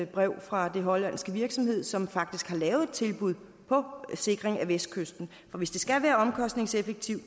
brev fra den hollandske virksomhed som faktisk har lavet et tilbud på sikring af vestkysten hvis det skal være omkostningseffektivt